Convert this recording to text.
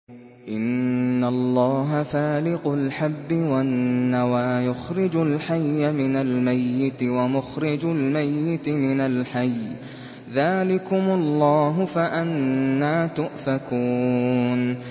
۞ إِنَّ اللَّهَ فَالِقُ الْحَبِّ وَالنَّوَىٰ ۖ يُخْرِجُ الْحَيَّ مِنَ الْمَيِّتِ وَمُخْرِجُ الْمَيِّتِ مِنَ الْحَيِّ ۚ ذَٰلِكُمُ اللَّهُ ۖ فَأَنَّىٰ تُؤْفَكُونَ